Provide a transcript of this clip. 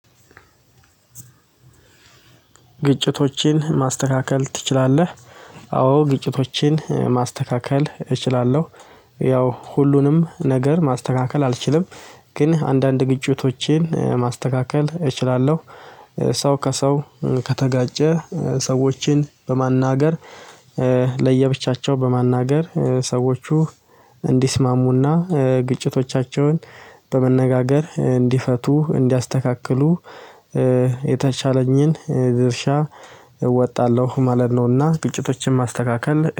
ግጭቶችን ማስተካከል ትችላለህ? አዎ ግጭቶችን ማስተካከል እችላለሁ። ያው ሁሉንም ነገር ማስተካከል አልችልም። ግን አንዳንድ ግጭቶችን ማስተካከል እችላለሁ። ሰው ከሰው ከተጋጨ ሰዎችን በማናገር። ለየብቻቸው በማናገር ሰዎቹ እንዲስማሙና ግጭቶቻቸውን በመነጋገር እንዲፈቱ እንዲያስተካክሉ። የተቻለኝን ድርሻ እወጣለሁ ማለት ነውና ግጭቶችን ማስተካከል